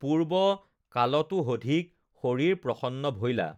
পূৰ্ব্ব কালতোহধিক, শৰীৰ প্ৰসন্ন ভৈলা,